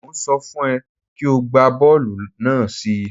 Mò ń sọ fún ẹ kí o gbá bọ́ọ̀lù náà sí i.